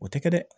O tɛ kɛ dɛ